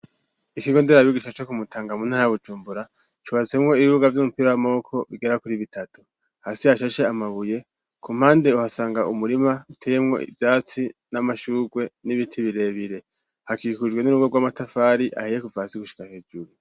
Ikigo nderabigisha co kumutanga mu ntaya Bujumbura cubatsemwo ibibuga Vy'umupira w'amaboko bigera kuri bitatu. Hasi hashashe amabuye ku mpande uhasanga umurima uteyemwo ivyatsi n'amashurwe n'ibiti birebire, hakikujwe n'urugo rw'amatafari ahiye kuvasi gushika hejuru.